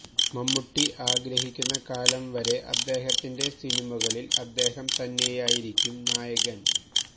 മമ്മൂട്ടി ആഗ്രഹിക്കുന്ന കാലം വരെ അദ്ദേഹത്തിന്റെ സിനിമകളില് അദ്ദേഹം തന്നെയായിരിക്കും നായകന്